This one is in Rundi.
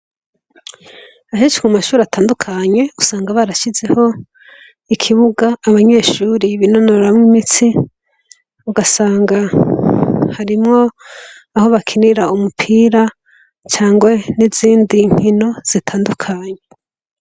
Henshi kumashure atandukanye usanga barashizeho ikibuga abanyeshure binonoramwo imitsi ugasanga harimwo aho bakinira umupira canke nizindi nkino zitandukanye